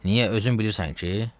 Niyə özün bilirsən ki?